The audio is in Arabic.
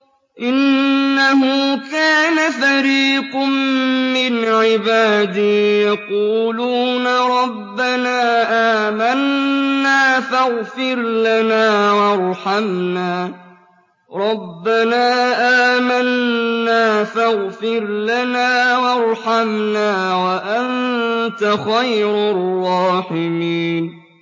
إِنَّهُ كَانَ فَرِيقٌ مِّنْ عِبَادِي يَقُولُونَ رَبَّنَا آمَنَّا فَاغْفِرْ لَنَا وَارْحَمْنَا وَأَنتَ خَيْرُ الرَّاحِمِينَ